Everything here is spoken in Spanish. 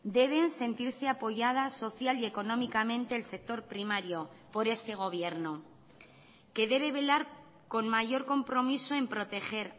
deben sentirse apoyadas social y económicamente el sector primario por este gobierno que debe velar con mayor compromiso en proteger